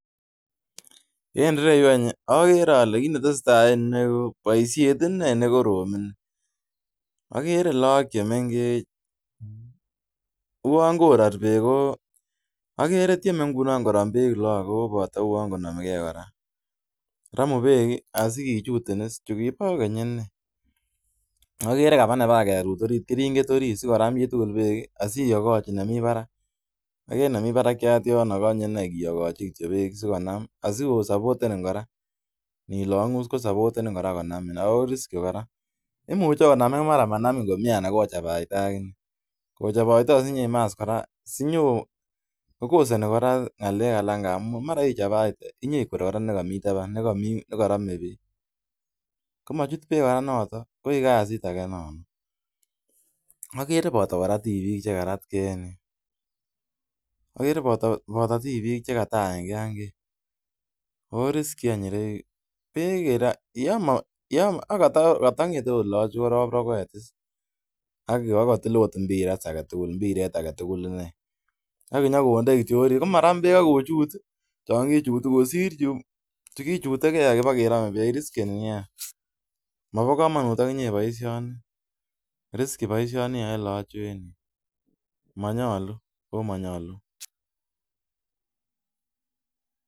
Tesetai baisiet ne korom. Mi lagok che mengech, uwon tieme koram peek asi kochut.